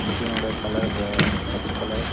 மிஷினோட கலர் பச்ச கலர் .